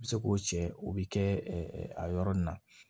U bɛ se k'o cɛ o bɛ kɛ a yɔrɔ nin na